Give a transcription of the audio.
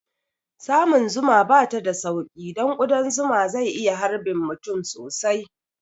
Samun zuma bata da sauƙi don ƙudan zuma zai iya harbin mutum sosai